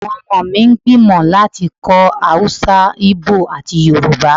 Awọn ọmọ mi n gbimọ lati kó̩ Awúsá, íbò ati Yoruba